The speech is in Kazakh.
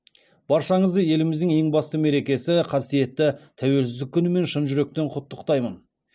баршаңызды еліміздің ең басты мерекесі қасиетті тәуелсіздік күнімен шын жүректен құттықтаймын